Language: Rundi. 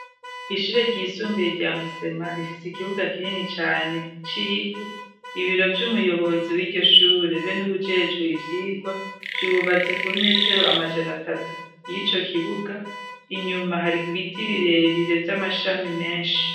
Ishire ryisumbiye rya musema rifise ikibuga kinini cane civu ibiro vy'umuyobozi w'iryoshure be n'uwujejwe ivyirwa vyubatse kub metero amajana atatu y'ico kibuga inyuma hariga ibiti birebire vy'amashami menshi.